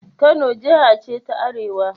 Kano Jiha ce ta Arewa